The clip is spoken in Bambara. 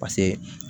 Paseke